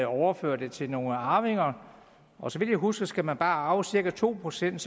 overfører det til nogle arvinger og så vidt jeg husker skal man bare arve cirka to procent